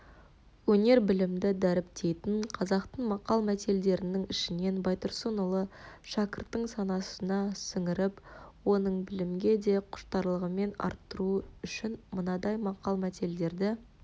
өнер-білімді дәріптейтін қазақтың мақал-мәтелдерінің ішінен байтұрсынұлы шәкірттің санасына сіңіріп оның білімге де құштарлығын арттыру үшін мынадай мақал-мәтелдерді